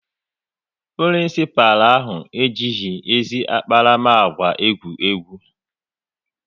Prinisipalụ ahụ ejighị ezi akparamagwa egwu egwu